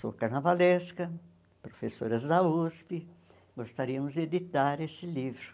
Sou carnavalesca, professoras da USP, gostaríamos de editar esse livro.